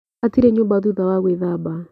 Hatire nyũmba thutha wa gwĩthamba.